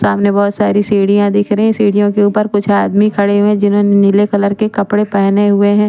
सामने बहोत साड़ी सीडिया दिख हे सीड़ीओ के उप्पर कुछ आदमी खड़े है जिन्होंने नील कलर के कपड़े पहने हुए हैं ।